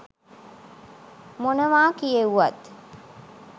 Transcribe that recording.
මොනවා කියෙව්වත්